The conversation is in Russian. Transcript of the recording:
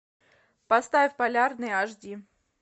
поставь полярный аш ди